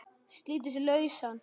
Slítur sig lausan.